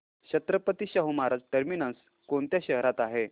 Chhatrapati Shahu Maharaj terminus कोणत्या शहरात आहे